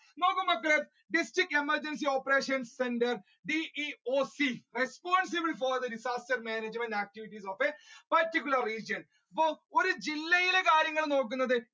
നോക്കൂ മക്കളെ District Emergency Operation Centre DEOC പോലത്തെ ഒരു disaster management activities of a particular region. So ഒരു ജില്ലയിലെ കാര്യങ്ങൾ നോക്കുന്നത്